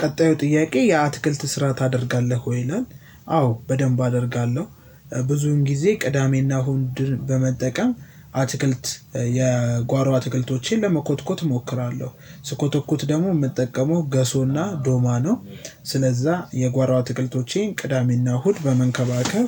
ቀጣዩ ጥያቄ የአትክልት ስራ ታደርጋለህ ወይ ይላል? አዎ በደንብ አደርጋለሁ ብዙን ጊዜ ቅዳሜና እሁድን በመጠቀም አትክልት የጓሮ አትክልቶቼን ለመኮትኮት እሞክራለሁ ስኮተኩት ደግሞ የምጠቀመው ገሶና ዶማ ነው። ስለዛ የጓሮ አትክልቶቼን ቅዳሜና እሁድ በመንከባከብ